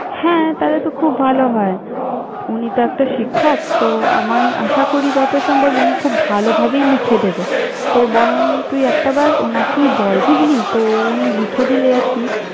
হ্যাঁ, তাহলে তো খুব ভালো হয়। উ~ উনি তো একটা শিক্ষক তো আমায় আশা করি, যত সম্ভব উনি খুব ভালোভাবেই লিখে দেবে। তো বরং তুই একটাবার ওনাকেই বল বুঝলি? তো উনি লিখে দিলে আর কি!